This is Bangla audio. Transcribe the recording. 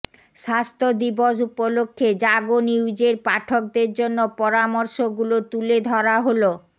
স্বাস্থ্য দিবস উপলক্ষে জাগো নিউজের পাঠকদের জন্য পরামর্শগুলো তুলে ধরা হলো